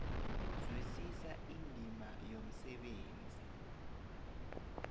zwisisa indima yomsebenzi